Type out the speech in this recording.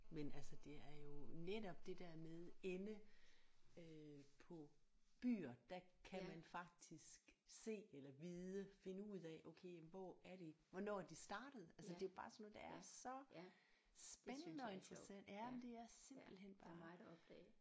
Men altså det er jo netop det der med ende øh på byer der kan man faktisk se eller vide finde ud af okay jamen hvor er det hvornår er de startet altså det er bare sådan noget der er så spændende og interessant jamen det er simpelthen bare